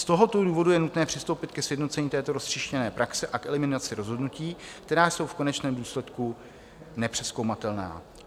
Z tohoto důvodu je nutné přistoupit ke sjednocení této roztříštěné praxe a k eliminaci rozhodnutí, která jsou v konečném důsledku nepřezkoumatelná.